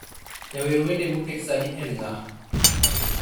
jawer wende moket sani en ng'a